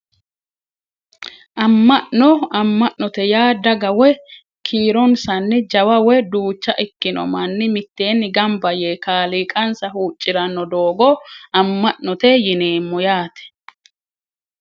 Amma'no amma'note yaa daga woyi kiironsanni jawa woyi duucha ikkino manni mitteenni gamba yee kaaliiqansa huucciranno doogo amma'note yineemmo yaate